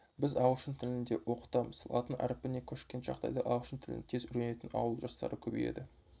біз ағылшын тілін де оқытамыз латын әрпіне көшкен жағдайда ағылшын тілін тез үйренетін ауыл жастары көбейеді